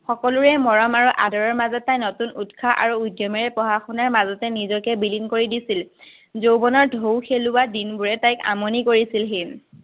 সকলোৰে মৰম আৰু আদৰৰ মাজত তাই নতুন উত্সাহ আৰু উদ্যমেৰে পঢ়া-শুনাৰ মাজতে নিজকে বিলিন কৰি দিছিল। যৌৱনৰ ঢৌ খেলোৱা দিনবোৰে তাইক আমনি কৰিছিলহি।